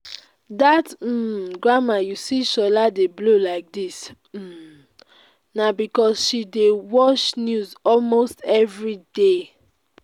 dat um grammar you see shola dey blow like dis um na because say she dey watch news almost everyday